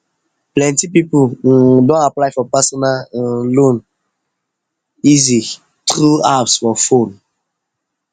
plenty people um don apply for personal um loan easyeasy through apps for fone um